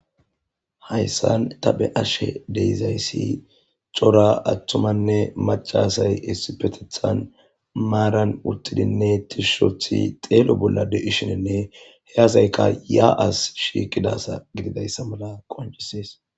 hayssan ta beashe deizayssi cora attumanne macasay issipetethan maaran uttidinne tishushothi xeelo bolla de7ishinenne heyazayka yaa7as shiiqidasa gididayssa mala qoncisees